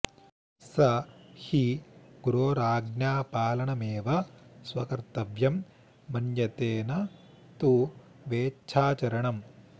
स हि गुरोराज्ञापालनमेव स्वकर्तव्यं मन्यते न तु वेच्छाचरणम्